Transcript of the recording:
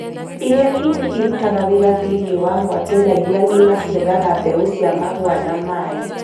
Irĩa nini irutaga wĩra thĩinĩ wa mwatũ na irĩa ng’ima ciethaga mbeũ cia mahũa na maĩ